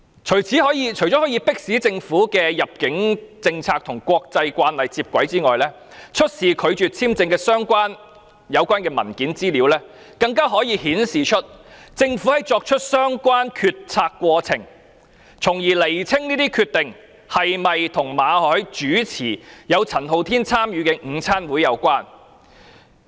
除了可以迫使政府的入境政策與國際慣例接軌外，出示拒發簽證的有關文件資料，更可顯示政府作出相關決策的過程，從而釐清有關決定是否與馬凱主持有陳浩天參與的午餐會有關。